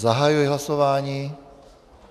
Zahajuji hlasování.